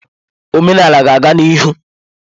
Omenala ga-aga n'ihu.